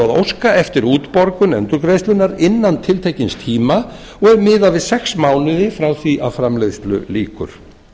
óska eftir útborgun endurgreiðslunnar innan tiltekins tíma og er miðað við sex mánuði frá því að framleiðslu lýkur